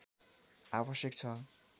आवश्यक छ